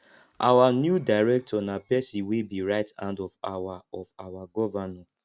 our new director nah person wey be right hand of our of our governor